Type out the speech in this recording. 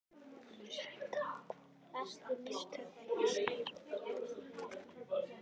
Lúsinda, hvaða stoppistöð er næst mér?